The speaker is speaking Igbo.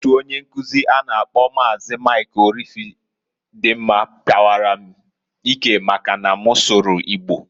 Otu onye nkuzi a na -akpọ Maazi, Mik Orifedimma, pawara m ike maka na m sụrụ Igbo.